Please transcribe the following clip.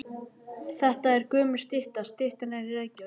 Þetta er gömul stytta. Styttan er í Reykjavík.